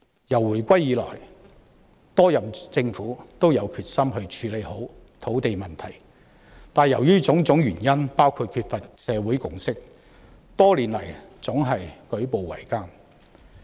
自回歸以來，多任政府均有決心處理好土地問題，但由於種種原因，包括缺乏社會共識，多年來總是舉步維艱。